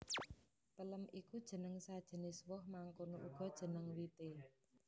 Pelem iku jeneng sajenis woh mangkono uga jeneng wité